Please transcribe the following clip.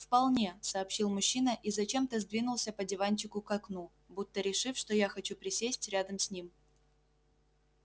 вполне сообщил мужчина и зачем-то сдвинулся по диванчику к окну будто решив что я хочу присесть рядом с ним